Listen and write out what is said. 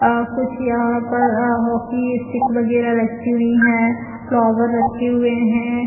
अ कुछ यहाँ पर अ हॉकी स्टिक वगेरा रखी हुई है फ्लॉवर रखे हुए है।